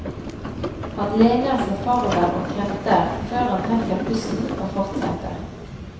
Han lener seg forover og kremter, før han trekker pusten og fortsetter.